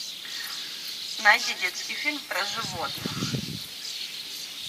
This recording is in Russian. найди детский фильм про животных